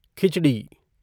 खिचड़ी